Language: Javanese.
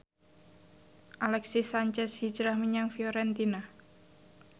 Alexis Sanchez hijrah menyang Fiorentina